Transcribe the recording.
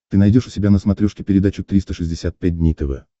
ты найдешь у себя на смотрешке передачу триста шестьдесят пять дней тв